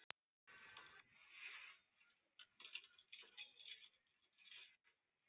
Hann er að ná til mín, held ég.